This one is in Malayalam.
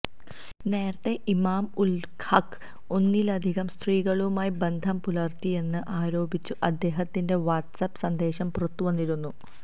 നേരത്തെ ഇമാം ഉൽ ഹഖ് ഒന്നിലധികം സ്ത്രീകളുമായി ബന്ധംപുലർത്തിയെന്ന് ആരോപിച്ചു അദ്ദേഹത്തിന്റെ വാട്ട്സ്ആപ്പ് സന്ദേശം പുറത്തുവന്നിരുന്നു